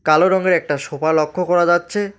কালো রঙ্গের একটা সোফা লক্ষ করা যাচ্চে।